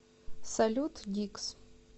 салют дикс